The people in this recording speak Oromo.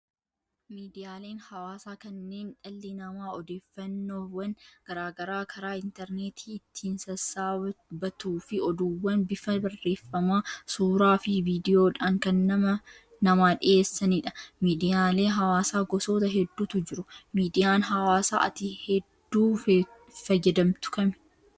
Miidiyaaleen hawaasaa kanneen dhalli namaa odeeffannoowwan garaagaraa karaa intarneetii ittiin sassaabbatuu fi oduuwwan bifa barreeffamaa, suuraa fi viidiyoodhaan kan namaa dhiyeessanidha. Miidiyalee hawaasaa gosoota hedduutu jiru. Miidiyaan hawaasaa ati hedduu fayyadamtu kami?